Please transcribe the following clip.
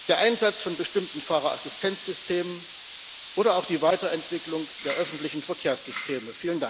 der Einsatz von bestimmten Fahrerassistenzsystemen oder auch die Weiterentwicklung der öffentlichen Verkehrssysteme.